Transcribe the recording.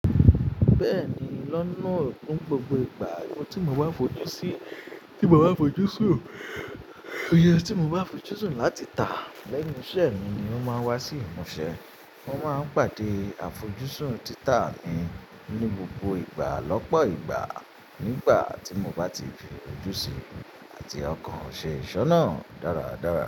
Bẹ́ẹ̀ni, lọ́nà tó gbogbo ìgbà tí mo bá fojú sí, tí mo bá fojú sùn, ó yẹ tí mo bá fojú sùn láti tà lẹ́nu iṣẹ́ mi ni ó máa wá sí ìmúṣẹ. Mo máa ń pàdé àfojúsùn títà mi ní gbogbo ìgbà lọ́pọ̀ ìgbà nígbà tí mo bá ti fojú sí àti ọkàn ṣe ìṣe náà dáradára.